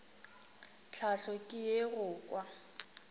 tlhahlo ke ye go kwa